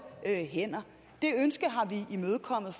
hænder det ønske har vi imødekommet